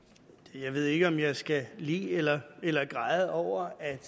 jeg ved ikke om jeg skal le eller eller græde over at